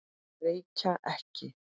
Reykja ekki.